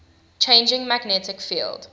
changing magnetic field